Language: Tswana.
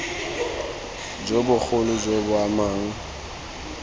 jo bogolo jo bo amang